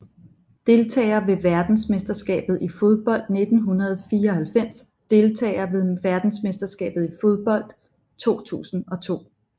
Deltagere ved verdensmesterskabet i fodbold 1994 Deltagere ved verdensmesterskabet i fodbold 2002